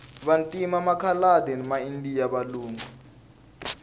vantima makhaladi ma indiya valungu